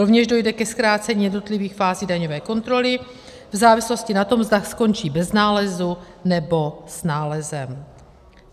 Rovněž dojde ke zkrácení jednotlivých fází daňové kontroly v závislosti na tom, zda skončí bez nálezu, nebo s nálezem.